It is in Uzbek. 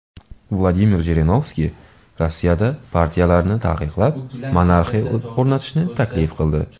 Vladimir Jirinovskiy Rossiyada partiyalarni taqiqlab, monarxiya o‘rnatishni taklif qildi.